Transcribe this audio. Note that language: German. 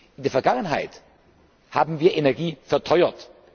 In der Vergangenheit haben wir Energie verteuert.